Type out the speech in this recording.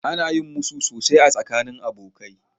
Ana yin musu sosai a tsakanin abokai.